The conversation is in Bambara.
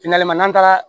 n'an taara